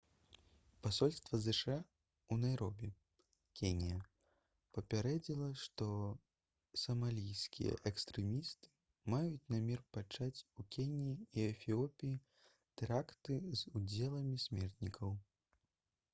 пасольства зша ў найробі кенія папярэдзіла што «самалійскія экстрэмісты» маюць намер пачаць у кеніі і эфіопіі тэракты з удзелам смертнікаў